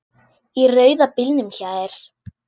Í rauða bílnum hjá þér.